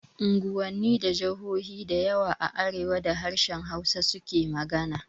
Unguwanni da jahohi dayawa a arewa da harshen Hausa su ke magana